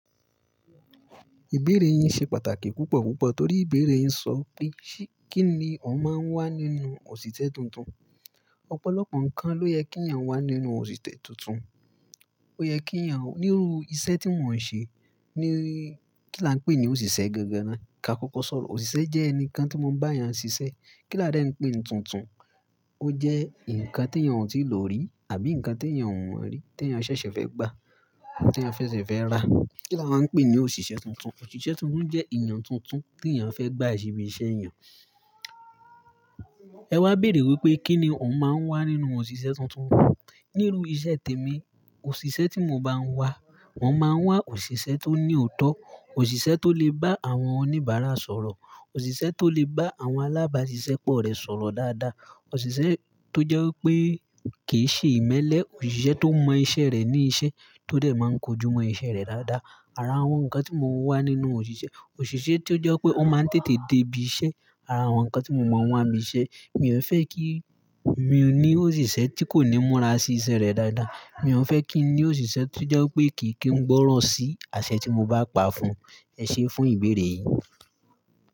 Ìbéèrè yin ṣe pàtàkì púpọ̀ púpọ̀ torí ìbéèrè yin sọ pé, kí ni ó máa ń wà nínú òṣìṣẹ́ tuntun. Ọ̀pọ̀lọpọ̀ nǹkan ló yẹ kí eeyan wà nínú òṣìṣẹ́ tuntun. Ó yẹ kí à ń nírú iṣẹ́ tí wọn ń ṣe, ni kí là ń pè ní òṣìṣẹ́ gẹ́gẹ́ ná. Ká kọ́kọ́ sọ̀rọ̀, òṣìṣẹ́ jẹ́ ẹnìkan tí wọ́n bá èèyàn ṣiṣẹ́. Kí là dẹ ń pè ní tuntun? Ó jẹ́ nǹkan tí èèyàn ò tíì lò rí àbí nǹkan tí èèyàn ò mọ̀ rí, tí èèyàn ṣẹ̀ṣẹ̀ fẹ́ gbà, tí èèyàn ṣẹ̀ṣẹ̀ fẹ́ rà. Kí là máa ń pè ní òṣìṣẹ́ tuntun. Òṣìṣẹ́ tuntun jẹ́ èèyàn tuntun tí èèyàn fẹ́ gbà ṣebí iṣẹ́ èèyàn. Ẹ wá béèrè wípé kí ni ó máa ń wà nínú òṣìṣẹ́ tuntun. Nírú iṣẹ́ tèmi, òṣìṣẹ́ tí mo máa ń wà, wọ́n máa ń wà òṣìṣẹ́ tó ní òótọ́, òṣìṣẹ́ tó lè bá àwọn oníbàárà sọ̀rọ̀, òṣìṣẹ́ tó lè bá àwọn alábáṣiṣẹ́ pọ̀ rẹ̀ sọ̀rọ̀ dáadáa, òṣìṣẹ́ tó jẹ́ wípé kì í ṣe ìmẹ́lẹ́, òṣìṣẹ́ tó mọ iṣẹ́ rẹ̀ ní iṣẹ́ tó dẹ̀ máa ń kojú mọ iṣẹ́ rẹ̀ dáadáa. Ara àwọn nǹkan tí mo wà nínú òṣìṣẹ́, òṣìṣẹ́ tí ó jẹ́ wípé ó máa ń tètè dé ibi iṣẹ́, ara àwọn nǹkan tí mo mọ̀ wọ́n àmì iṣẹ́. Mi ò fẹ́ kí mi ní òṣìṣẹ́ tí kò ní múra sí iṣẹ́ rẹ̀ dáadáa. Mi ò fẹ́ kí n ní òṣìṣẹ́ tó jẹ́ wípé kì kí n gbọ́ràn sí àṣẹ tí mo bá pa fún. Ẹ ṣé fún ìbéèrè yìí.